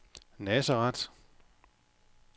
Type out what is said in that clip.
Nazareth